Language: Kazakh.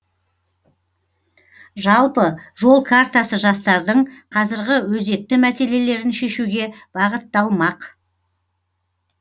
жалпы жол картасы жастардың қазіргі өзекті мәселелерін шешуге бағытталмақ